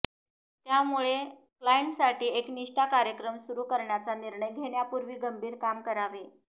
त्यामुळे क्लायंटसाठी एक निष्ठा कार्यक्रम सुरू करण्याचा निर्णय घेण्यापूर्वी गंभीर काम करावे